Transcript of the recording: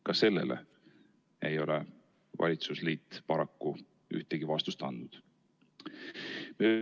Ka sellele ei ole valitsusliit paraku ühtegi vastust andnud.